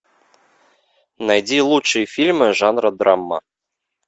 найди лучшие фильмы жанра драма